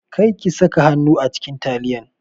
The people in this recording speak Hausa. Kar ki saka hannu a cikin taliyan!